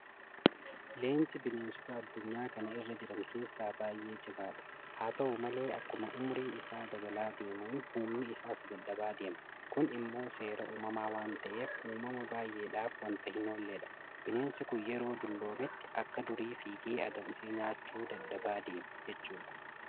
Leenci bineensota addunyaa kana irra jiran keessaa baay'ee cimaadha. Haata'u malee akkuma ummuriin isaa dabalaa adeemuun humni isaas dadhabaa adeema. Kun immoo seera uumamaa waanta ta'eef uumama baay'eedhaaf waanta hinoolledha. Bineensi kun yeroo dulloometti akka durii fiigee adamsee nyaachuu dadhabaa adeema jechuudha.